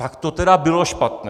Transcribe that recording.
- Tak to tedy bylo špatné!